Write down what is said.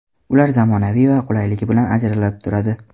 Ular zamonaviy va qulayligi bilan ajralib turadi.